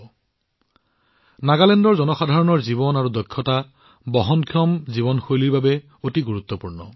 এক বহনক্ষম জীৱনশৈলীৰ বাবে নাগালেণ্ডৰ জনসাধাৰণৰ জীৱন আৰু তেওঁলোকৰ দক্ষতাও অতি গুৰুত্বপূৰ্ণ